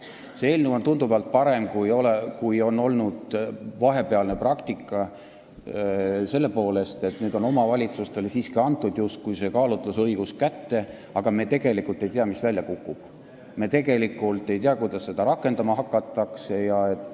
See eelnõu on tunduvalt parem, kui on olnud vahepealne praktika, seda selle poolest, et nüüd on omavalitsustele siiski justkui antud kaalutlusõigus, aga me tegelikult ei tea, mis välja kukub, me tegelikult ei tea, kuidas seda rakendama hakatakse.